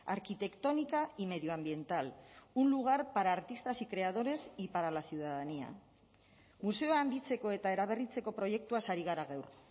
arquitectónica y medioambiental un lugar para artistas y creadores y para la ciudadanía museoa handitzeko eta eraberritzeko proiektuaz ari gara gaur